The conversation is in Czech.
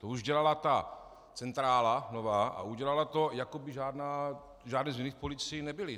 To už dělala ta nová centrála, a udělala to, jako by žádné změny v policii nebyly.